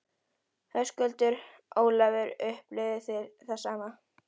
Höskuldur: Ólafur, upplifið þið það sama?